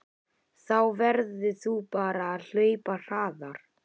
Þá verður þú bara að hlaupa hraðar